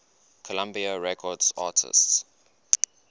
columbia records artists